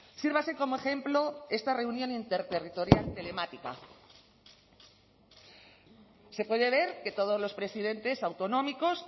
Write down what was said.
sírvase como ejemplo esta reunión interterritorial telemática se puede ver que todos los presidentes autonómicos